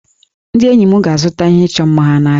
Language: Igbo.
Ndị enyi m ga-azụta ihe ịchọ mma ha n'ahịa